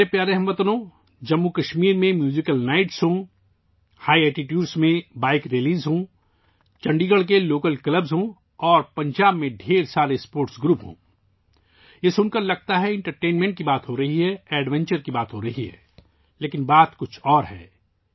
میرے پیارے ہم وطنو، چاہے جموں کشمیر میں میوزیکل نائٹس ہوں، بلندی پر بائیک ریلیاں ہوں، چندی گڑھ کے مقامی کلب ہوں اور پنجاب کے بہت سے کھیلوں کے گروپ ہوں، ایسا لگتا ہے کہ ہم تفریح اور ایڈونچر کی بات کر رہے ہیں لیکن یہ کچھ مختلف ہے